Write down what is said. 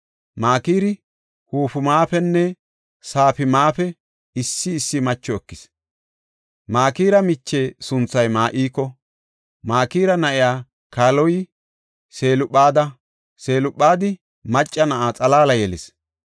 Makiri Hufimapenne Safimape issi issi macho ekis. Makira miche sunthay Ma7iko. Makira na7ay kaaloy Selophaada; Selophaadi macca na7a xalaala yelis.